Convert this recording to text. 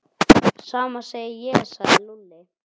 Sama segi ég sagði Lúlli.